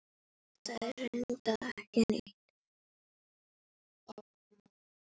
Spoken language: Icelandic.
Þetta er reyndar ekkert nýtt.